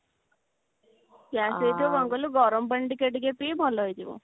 gas ହେଇଥିବ କଣ କହିଲୁ ଗରମ ପାଣି ଟିକେ ଟିକେ ପି ଭଲ ହେଇଯିବ